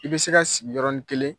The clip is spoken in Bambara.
I bɛ se ka sigi yɔrɔnin kelen